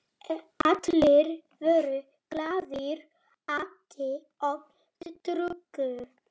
Allir voru glaðir, átu og drukku.